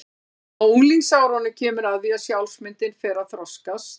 Á unglingsárunum kemur að því að sjálfsmyndin fer að þroskast.